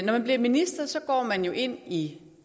når man bliver minister går man jo ind i